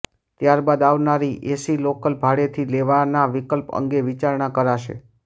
ત્યાર બાદ આવનારી એસી લોકલ ભાડેથી લેવાના વિકલ્પ અંગે વિચારણા કરાશે